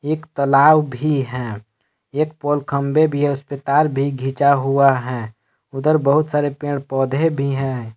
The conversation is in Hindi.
एक तालाब भी है एक पोल खंभे भी हैं उस पे तार भी गींचा हुआ है उधर बहुत सारे पेड़ पौधे भी हैं।